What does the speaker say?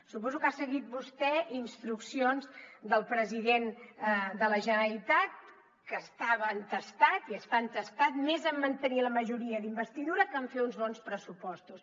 suposo que ha seguit vostè instruccions del president de la generalitat que estava entestat i està entestat més en mantenir la majoria d’investidura que en fer uns bons pressupostos